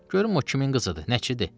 Görüm o kimin qızıdır, nəçidir.